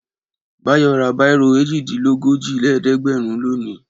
Báyọ̀ ra bírò èjìdínlójìlélẹ́ẹ̀dẹ́gbẹ̀rún lónìí.